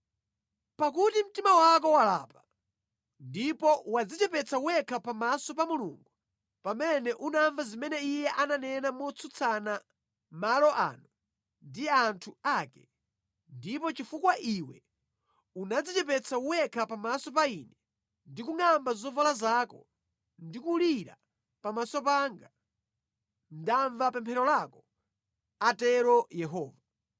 Pakuti mtima wako walapa, ndipo wadzichepetsa wekha pamaso pa Mulungu pamene unamva zimene Iye ananena motsutsa malo ano ndi anthu ake, ndipo chifukwa iwe unadzichepetsa wekha pamaso pa Ine ndi kungʼamba zovala zako ndi kulira pamaso panga, ndamva pemphero lako, atero Yehova.